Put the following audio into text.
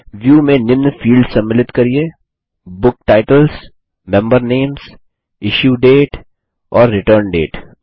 view में निम्न fields सम्मिलित करिये book titles member names issue date और रिटर्न डेट